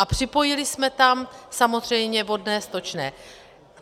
A připojili jsme tam samozřejmě vodné, stočné.